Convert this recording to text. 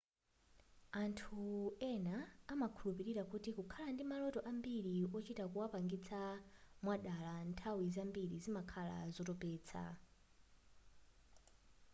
anthu ena amakhulupirira kuti kukhala ndi maloto ambiri ochita kuwapangisa mwadala nthawi zambiri zimakhala zotopesa